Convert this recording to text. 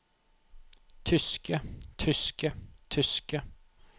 tyske tyske tyske